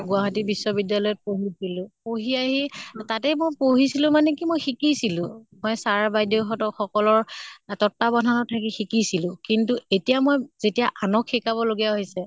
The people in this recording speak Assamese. গুৱাহাটী বিশ্ব বিদ্য়ালয়ত পঢ়িছলো, পঢ়ি আহি তাতে মই পঢ়িছলো মানে কি মই শিকিছিলো হয় sir বাইদেউ হঁতৰ সকলৰ তত্বাৱধানত থাকি শিকিছিলো। কিন্তু এতিয়া মই যেতিয়া আনক শিকাব লগিয়া হৈছে